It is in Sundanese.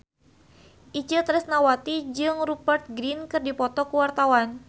Itje Tresnawati jeung Rupert Grin keur dipoto ku wartawan